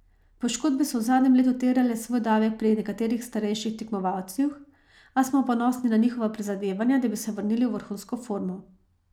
Poškodbe so v zadnjem letu terjale svoj davek pri nekaterih starejših tekmovalcih, a smo ponosni na njihova prizadevanja, da bi se vrnili v vrhunsko formo.